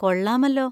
കൊള്ളാമല്ലോ.